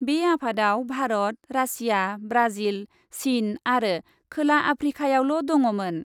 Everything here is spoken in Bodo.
बे आफादआव भारत, रासिया, ब्राजिल, चिन आरो खोला आफ्रिकायाल' दङमोन ।